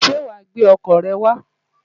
Ṣé wàá gbé ọkọ̀ rẹ wá?